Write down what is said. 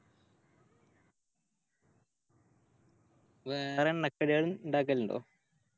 വേറെ എണ്ണക്കടികൾ ഇണ്ടാക്കലിണ്ടോ